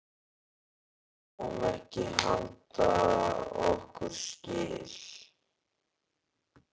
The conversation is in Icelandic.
Við sáum ekki handa okkar skil.